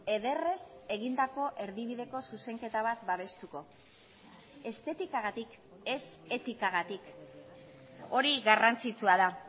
ederrez egindako erdibideko zuzenketa bat babestuko estetikagatik ez etikagatik hori garrantzitsua da